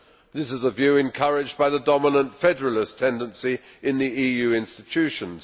This is the view encouraged by the dominant federalist tendency in the EU institutions.